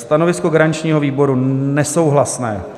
Stanovisko garančního výboru - nesouhlasné.